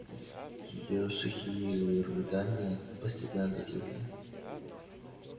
её сухие рыдания постепенно затихли